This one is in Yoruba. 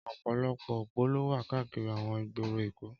Ọpọlọpọ ópó ló wà kàákìrí awọn igbóró Ékó